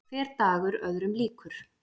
Hver dagur öðrum líkur.